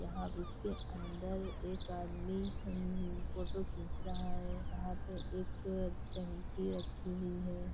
यहाँ इसके अंदर एक आदमी अम फोटो खींच रहा है यहाँ पे एक टंकी रखी हुई है।